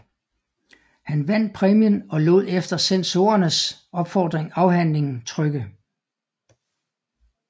Han vandt præmien og lod efter censorernes opfordring afhandlingen trykke